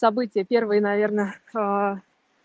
события первой наверное аа